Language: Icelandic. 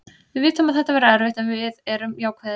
Við vitum að þetta verður erfitt en við erum jákvæðir.